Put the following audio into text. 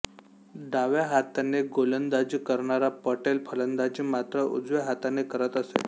डाव्या हाताने गोलंडाजी करणारा पटेल फलंदाजी मात्र उजव्या हाताने करत असे